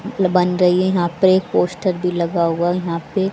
बन रही है यहां पर एक पोस्टर भी लगा हुआ है यहां पे।